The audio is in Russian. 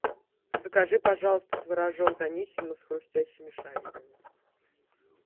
закажи пожалуйста творожок даниссимо с хрустящими шариками